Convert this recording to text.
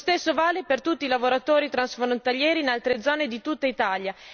Lo stesso vale per tutti i lavoratori transfrontalieri in altre zone di tutta Italia.